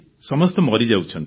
ସମସ୍ତେ ମରିଯାଉଛନ୍ତି